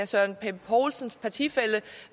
søren pape poulsens partifælle